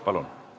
Palun!